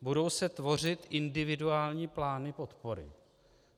Budou se tvořit individuální plány podpory.